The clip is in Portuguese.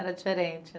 Era diferente